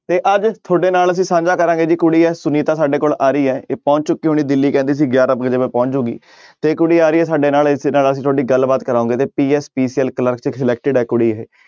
ਤੇ ਅੱਜ ਤੁਹਾਡੇ ਨਾਲ ਅਸੀਂ ਸਾਂਝਾ ਕਰਾਂਗਾ ਜੀ ਕੁੜੀ ਹੈ ਸੁਨੀਤਾ ਸਾਡੇ ਕੋਲ ਆ ਰਹੀ ਹੈ ਇਹ ਪਹੁੰਚ ਚੁੱਕੀ ਹੋਣੀ ਦਿੱਲੀ ਕਹਿੰਦੀ ਸੀ ਗਿਆਰਾਂ ਕੁ ਵਜੇ ਮੈਂ ਪਹੁੰਚ ਜਾਊਂਗੀ ਤੇ ਕੁੜੀ ਆ ਰਹੀ ਹੈ ਸਾਡੇ ਨਾਲ ਇੱਥੇ ਨਾਲ ਅਸੀਂ ਤੁਹਾਡੀ ਗੱਲਬਾਤ ਕਰਾਵਾਂਗੇ ਤੇ PSPCL clerk selected ਆ ਕੁੜੀ ਇਹ।